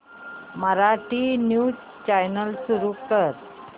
Marathi news channel सुरू कर